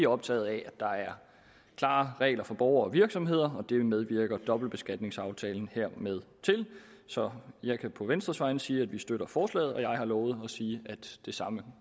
optaget af at der er klare regler for borgere og virksomheder og det medvirker dobbeltbeskatningsaftalen hermed til så jeg kan på venstres vegne sige at vi støtter forslaget og jeg har lovet at sige at det samme